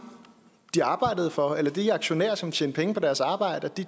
de arbejdede for eller de aktionærer som tjente penge på deres arbejde